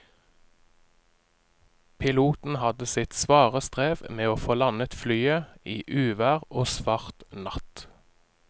Piloten hadde sitt svare strev med å få landet flyet i uvær og svart natt.